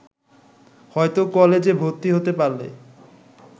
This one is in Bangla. হয়তো কলেজে ভর্তি হতে পারলে